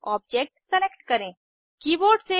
अपना मौलिक स्ट्रक्चर प्राप्त करने के लिए बदलाव को उंडो करें